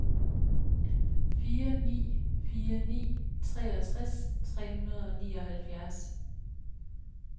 fire ni fire ni treogtres tre hundrede og nioghalvfjerds